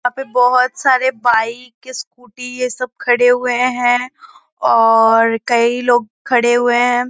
यहाँ पे बहोत सारे बाइक स्कूटी ये सब खड़े हुए हैं और कई लोग खड़े हुए हैं।